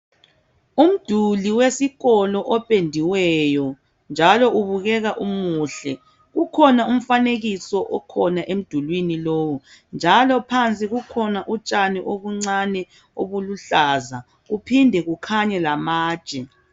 Umduli wesikolo opendiweyo njalo ubukeka umuhle ,kukhona umfanekiso okhona emdulini lowu njalo kukhona utshani obuncane obuluhlaza njalo kuphinde kukhanye lamatshe.